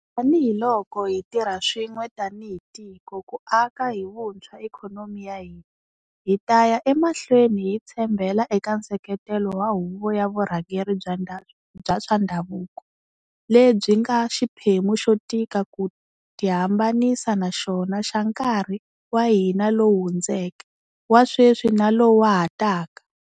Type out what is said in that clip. Tanihi loko hi tirha swin'we tanihi tiko ku aka hi vuntshwa ikhonomi ya hina, hi ta ya emahlweni hi tshembela eka nseketelo wa huvo ya vurhangeri bya swa ndhavuko, lebyi nga xiphemu xo tika ku tihambanisa na xona xa nkarhi wa hina lowu hundzeke, wa sweswi na lowu wa ha taka.